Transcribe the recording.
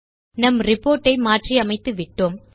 நம் ரிப்போர்ட் ஐ மாற்றிவிட்டோம்